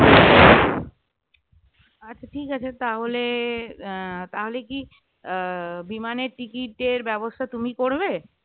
আচ্ছা ঠিক আছে তাহলে আহ তাহলে কি আহ বিমানের ticket এর ব্যবস্থা তুমি করবে?